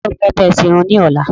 Ta ni o fẹ́ bá e sẹ Irun ní ọ́la?